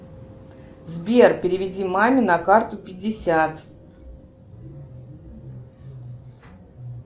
сбер переведи маме на карту пятьдесят